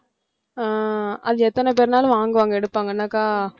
ஆஹ் அது எத்தனை பேர்னாலும் வாங்குவாங்க எடுப்பாங்க என்னாக்கா